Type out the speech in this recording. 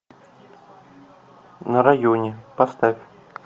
на районе поставь